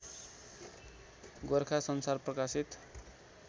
गोरखा संसार प्रकाशित